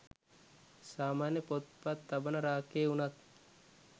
සාමාන්‍ය පොත් පත් තබන රාක්කයේ වුනත්